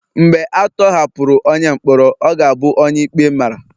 Mgbe a tọhapụrụ onye mkpọrọ, ọ ga-abụ onye ikpe mara